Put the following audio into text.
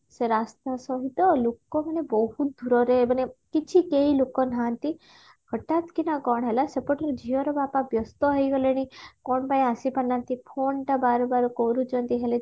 ସେ ରାସ୍ତା ସହିତ ଲୁକ ମାନେ ବହୁତ ଦୂରରେ ମାନେ କିଛି କେହି ଲୁକ ନାହାନ୍ତି ହଠାତକିନା କଣ ହେଲା ସେପଟରୁ ଝିଅର ବାପା ବ୍ୟସ୍ତ ହେଇଗଲେଣି କଣପାଇଁ ଆସିପାରିନାହାନ୍ତି phone ଟା ବାର ବାର କରୁଛନ୍ତି ହେଲେ